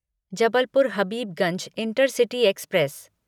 Jabalpur Habibganj intercity express